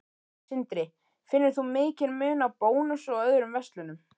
Sindri: Finnur þú mikinn mun á Bónus og öðrum verslunum?